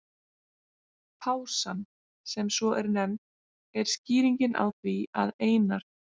Pásan, sem svo er nefnd, er skýringin á því að Einar